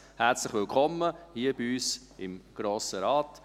Herzlich willkommen hier bei uns im Grossen Rat.